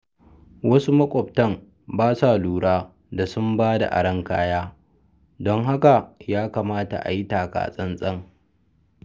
Wasu maƙwabta ba sa lura da sun ba da aron kayan, don haka ya kamata a yi taka-tsantsan.